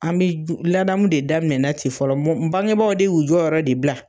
An bi ladamu de daminɛna ten fɔlɔ bangebaw de y'u jɔyɔrɔ de bila